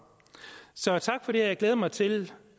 så tak for det jeg glæder mig til